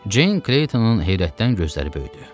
Ceyin Kleytonun heyrətdən gözləri böyüdü.